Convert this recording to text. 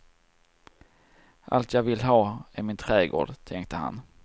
Allt jag vill ha är min trädgård, tänkte han.